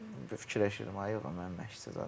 Fikirləşdim ay, mən məşqçi zad.